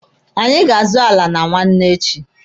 Anyị ga azụ ala na nwanne echi.